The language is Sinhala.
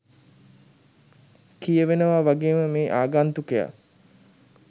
කියවෙනවා වගේම මේ ආගන්තුකයා